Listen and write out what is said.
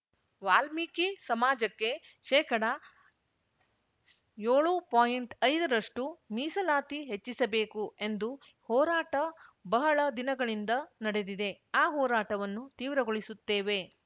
ವಾಲ್ಮೀಕಿ ಸಮಾಜಕ್ಕೆ ಶೇಕಡಯೋಳುಪಾಯಿಂಟ್ ಐದ ರಷ್ಟುಮೀಸಲಾತಿ ಹೆಚ್ಚಿಸಬೇಕು ಎಂದು ಹೋರಾಟ ಬಹಳ ದಿನಗಳಿಂದ ನಡೆದಿದೆ ಆ ಹೋರಾಟವನ್ನು ತೀವ್ರಗೊಳಿಸುತ್ತೇವೆ